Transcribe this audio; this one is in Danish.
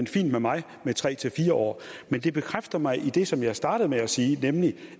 fint med mig med tre fire år men det bekræfter mig i det som jeg startede med at sige nemlig